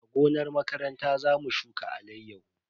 A gonar makaranta za mu shuka alayyahu.